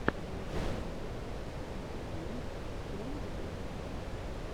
ежик ворлд оф тэнкс первый выпуск